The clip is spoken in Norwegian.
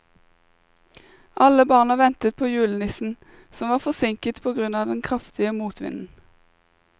Alle barna ventet på julenissen, som var forsinket på grunn av den kraftige motvinden.